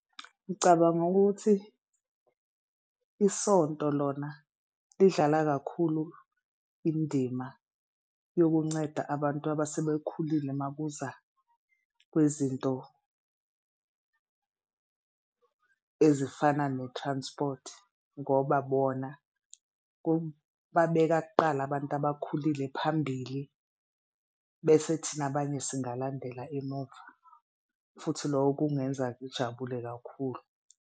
Ngicabanga ukuthi isonto lona lidlala kakhulu indima yokunceda abantu abasebekhulile makuza kwezinto ezifana ne-transport ngoba bona babeka kuqala abantu abakhulile phambili. Bese thina abanye singalandela emuva futhi loko kungenza ngijabule kakhulu.